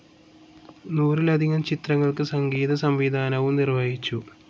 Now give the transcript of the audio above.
നൂറിലധികം ചിത്രങ്ങൾക്ക് സംഗീതസംവിധാനവും നിർവ്വഹിച്ചു.